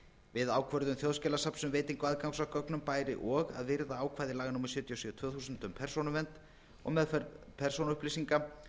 við ákvörðun þjóðskjalasafns um veitingu aðgangs að gögnum bæri og að virða ákvæði laga númer sjötíu og sjö tvö þúsund um persónuvernd og meðferð persónuupplýsinga